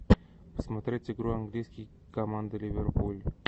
посмотреть игру английских команд ливерпуль